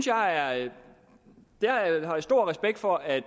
jeg har stor respekt for at